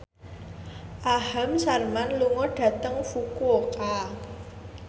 Aham Sharma lunga dhateng Fukuoka